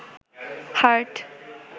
heart